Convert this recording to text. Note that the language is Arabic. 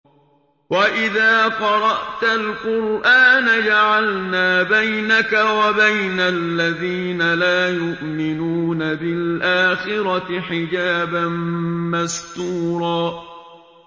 وَإِذَا قَرَأْتَ الْقُرْآنَ جَعَلْنَا بَيْنَكَ وَبَيْنَ الَّذِينَ لَا يُؤْمِنُونَ بِالْآخِرَةِ حِجَابًا مَّسْتُورًا